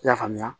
I y'a faamuya